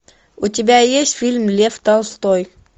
у тебя есть фильм лев толстой